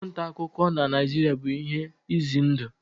Ọrụ nta akụkọ na Naịjirịa bụ ihe ize ndụ.